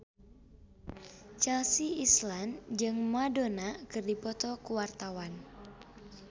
Chelsea Islan jeung Madonna keur dipoto ku wartawan